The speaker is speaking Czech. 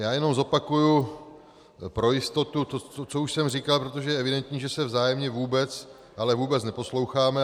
Já jenom zopakuji pro jistotu to, co už jsem říkal, protože je evidentní, že se vzájemně vůbec, ale vůbec neposloucháme.